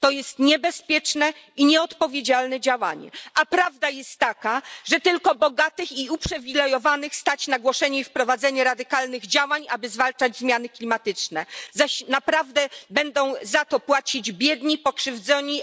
To jest niebezpieczne i nieodpowiedzialne działanie, a prawda jest taka, że tylko bogatych i uprzywilejowanych stać na głoszenie i wprowadzenie radykalnych działań, aby zwalczać zmiany klimatyczne, zaś naprawdę będą za to płacić biedni, pokrzywdzeni.